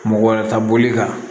Mɔgɔ wɛrɛ ta boli kan